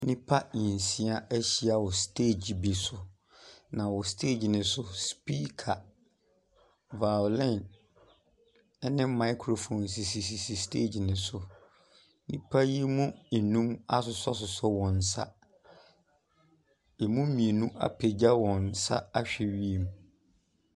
Nnipa nsia ahyia wɔ steegi bi so, na wɔ steegi no so no, supiika, violin ne microphone sisisisi stage no so. Nnipa yi mu nnum asosɔsosɔ wɔn nsa. Ɛmu mmienu apagya wɔn nsa ahwɛ wiem.